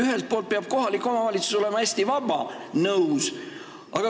Ühelt poolt peab kohalik omavalitsus olema hästi vaba – nõus.